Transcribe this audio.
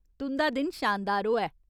तुं'दा दिन शानदार होऐ।